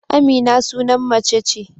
Amina sunan mace ce.